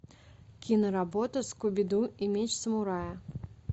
киноработа скуби ду и меч самурая